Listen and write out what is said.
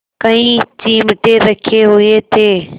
कई चिमटे रखे हुए थे